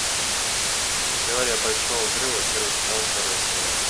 теория большого взрыва первый сезон первая серия